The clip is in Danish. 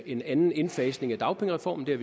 en anden indfasning af dagpengereformen det